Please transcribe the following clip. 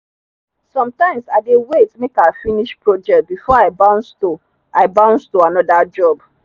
sometimes i dey wait make i finish project before i bounce to i bounce to another job.